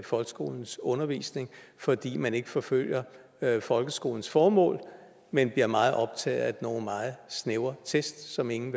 folkeskolens undervisning fordi man ikke forfølger folkeskolens formål men bliver meget optaget af nogle meget snævre test som ingen